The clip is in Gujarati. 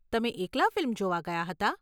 તમે એકલા ફિલ્મ જોવા ગયા હતા?